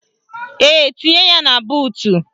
Ee, tinye ya na buutu